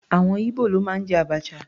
Àwọn Ibo ló máa ń jẹ abacha.